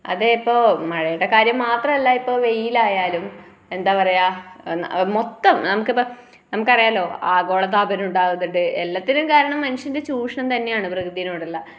അതേപ്പോ മഴയുടെ കാര്യം മാത്രമല്ലിപ്പോ വെയിലായാലും എന്താ പറയുക ആ മൊത്തം നമുക്കിപ്പം നമുക്കറിയാലോ ആഗോളതാപനമുണ്ടാകുന്നുണ്ടു എല്ലാത്തിനും കാരണം മനുഷ്യന്റെ ചൂഷണം തന്നെയാണ് പ്രകൃതിനോടുള്ള